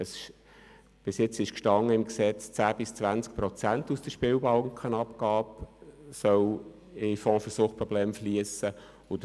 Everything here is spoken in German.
Bis anhin stand im Gesetz, dass 10 bis 20 Prozent aus der Spielbankenabgabe in den Fonds für Suchtprobleme fliessen sollen.